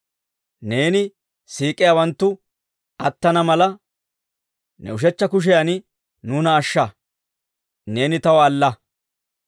Neeni siik'iyaawanttu attana mala, ne ushechcha kushiyan nuuna ashsha; neeni taw alla.